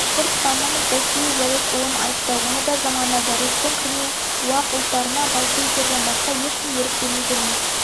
башқұртстанның зәки уәлитұлын айтты оны да жамандады ресейдің кірме уақ ұлттарына большевиктерден басқа ешкім ерік бермейтінін